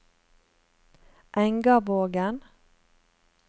Engavågen